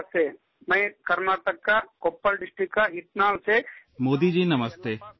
"Modi Ji, Namaste